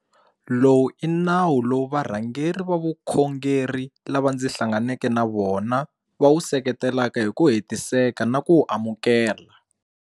Lowu i nawu lowu varhangeri va vukhongeri lava ndzi hlanganeke na vona va wu seketelaka hi ku hetiseka na ku wu amukela.